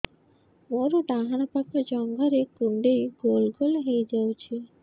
ମୋର ଡାହାଣ ପାଖ ଜଙ୍ଘରେ କୁଣ୍ଡେଇ ଗୋଲ ଗୋଲ ହେଇଯାଉଛି